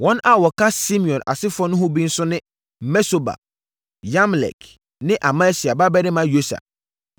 Wɔn a wɔka Simeon asefoɔ ho no bi nso ne Mesobab, Yamlek ne Amasia babarima Yosa,